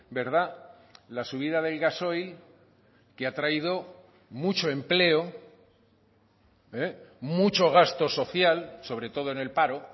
verdad la subida del gasoil que ha traído mucho empleo mucho gasto social sobre todo en el paro